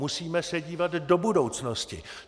Musíme se dívat do budoucnosti.